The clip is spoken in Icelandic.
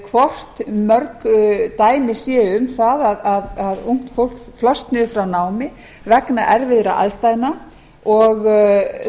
hvort mörg dæmi séu um það að ungt fólk flosni upp frá námi vegna erfiðra aðstæðna og